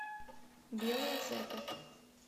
белая церковь